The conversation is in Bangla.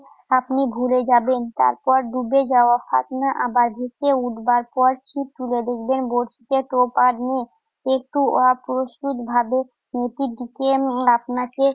আপনি ভুলে যাবেন, তারপর ডুবে যাওয়া ফাতনা আবার ভেসে উঠবার পরে ছিপ তুলে দেখবেন বড়শিতে টোপ আর নেই। একটু অপ্রস্তুতভাবে মেয়েটির দিকে উম আপনাকে